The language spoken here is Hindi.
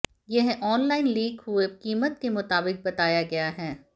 यह ऑनलाइन लीक हुई कीमत के मुताबिक बताया गया है